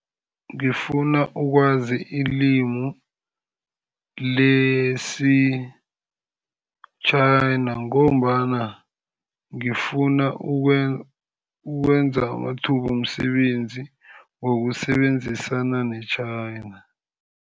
Ngifuna ukwazi ilimu lesi-China, ngombana ngifuna ukwenza amathuba womsebenzi wokusebenzisana ne-China.